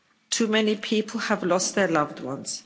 Too many people have lost their loved ones.